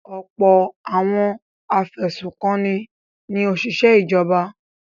Ọ̀pọ̀ àwọn afẹ̀sùnkanni ni òṣìṣẹ́ ìjọba.